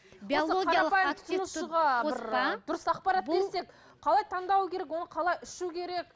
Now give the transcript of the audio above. қалай таңдау керек оны қалай ішу керек